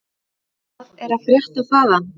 Hvað er að frétta þaðan?